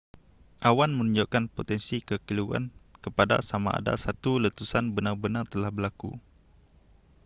awan menunjukkan potensi kekeliruan kepada samada satu letusan benar-benartelah berlaku